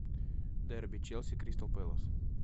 дерби челси кристал пэлас